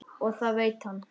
Og það veit hann.